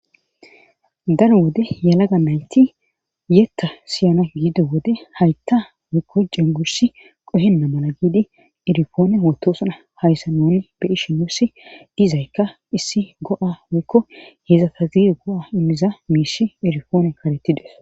daro wode yalaga nayti yetta siyana giido wode haytta woykko jengusi qohenna mala giidi irifoone hotosuna hayssa noni be ishi mussi dizaykka issi go7a woykko heedzata ziire go7a immiza miishi irifoone kaletides